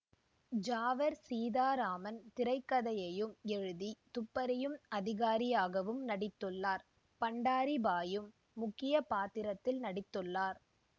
ஜாவர் சீதாராமன் திரை கதையையும் எழுதி துப்பறியும் அதிகாரியாகவும் நடித்துள்ளார் பண்டரிபாயும் முக்கிய பாத்திரத்தில் நடித்துள்ளார்